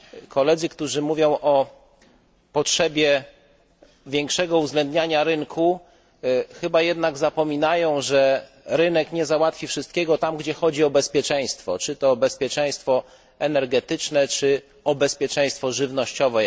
Koledzy, którzy mówią o potrzebie większego uwzględniania rynku chyba jednak zapominają, że rynek nie załatwi wszystkiego tam, gdzie chodzi o bezpieczeństwo, czy to bezpieczeństwo energetyczne, czy, jak w tym wypadku o bezpieczeństwo żywnościowe.